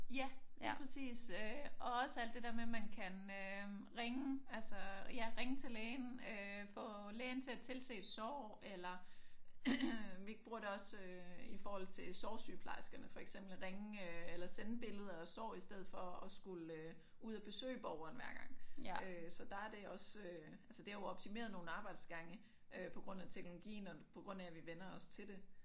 Ja lige præcis øh og også alt det dér med man kan øh ringe altså ja ringe til lægen øh få lægen til at tilse et sår eller vi bruger det også øh i forhold til sårsygeplejerskerne for eksempel ringe eller sende billeder af sår i stedet for at skulle ud og besøge borgeren hver gang øh så der er det også øh altså det har jo optimeret nogle arbejdsgange øh på grund af teknologien og på grund af at vi vænner os til det